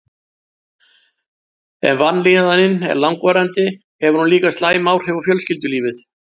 Ef vanlíðanin er langvarandi hefur hún líka slæm áhrif á fjölskyldulífið.